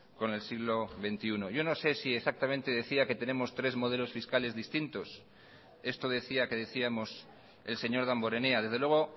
con el siglo veintiuno yo no sé si exactamente decía que tenemos tres modelos fiscales distintos esto decía que decíamos el señor damborenea desde luego